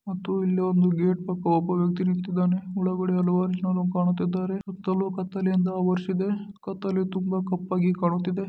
ಮತ್ತು ಇಲ್ಲಿ ಒಂದು ಗೇಟ್ ಪಕ್ಕ ಒಬ್ಬ ವ್ಯಕ್ತಿ ನಿಂತಿದ್ದಾನೆ ಒಳಗಡೆ ಹಲವಾರು ಜನ ಕಾಣುತ್ತಿದ್ದಾರೆ ಸುತ್ತಲೂ ಕತ್ತಲೆಯಿಂದ ಆವರಿಸಿದೆ ಕತ್ತಲೆ ತುಂಬಾ ಕಪ್ಪಾಗಿ ಕಾಣುತ್ತಿದೆ.